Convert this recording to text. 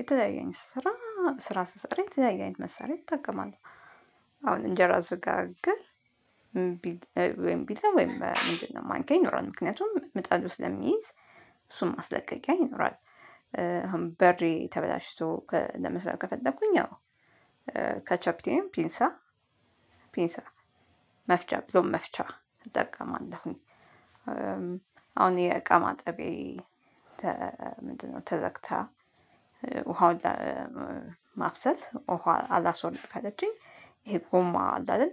የተለያየ አይነት ስራ ስራ ስሰራ የተለያየ አይነት መሳሪያ እጠቀማለሁ። አሁን እንጀራ ስጋግር ወይም ቢላ ወይም ማንኪያ ይኖራል። ምክንያቱም ምጣዱ ስለሚይዝ እሱን ማስለቀቂያ ይኖራል። አሁን በሬ ተበላሽቶ ለመስራት ከፈለኩኝ አዎ ካቻፒቲን ፒንሳ ፒንሳ መፍቻ ብዙም መፍቻ እጠቀማለሁኝ። አሁን የእቃ ማጠቢያ ምንድነው ተዘግታ ውሃውን ማፍሰስ ውሃ አላስወልድ ካለችኝ ይሄ ጎማ አለ አይደል